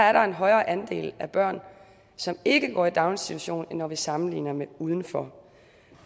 er der en højere andel af børn som ikke går i daginstitution end når vi sammenligner med udenfor